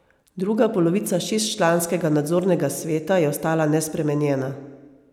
Druga polovica šestčlanskega nadzornega sveta je ostala nespremenjena.